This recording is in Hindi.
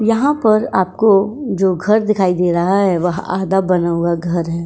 यहाँ पर आपको जो घर दिखाई दे रहा है वह आधा बना हुआ घर है।